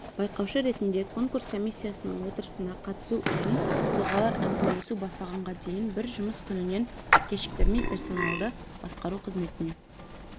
байқаушы ретінде конкурс комиссиясының отырысына қатысу үшін тұлғалар әңгімелесу басталғанға дейін бір жұмыс күнінен кешіктірмей персоналды басқару қызметіне